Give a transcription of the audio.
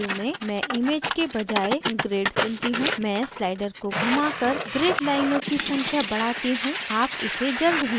मैं slider को घुमाकर grid लाइनों की संख्या बढ़ाती you आप इसे जल्द ही देखेंगे